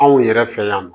Anw yɛrɛ fɛ yan nɔ